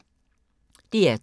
DR2